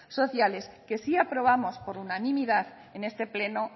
sociales que sí aprobamos por unanimidad en este pleno